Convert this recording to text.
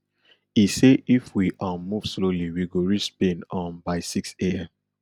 e say if we um move slowly we go reach spain um by sixam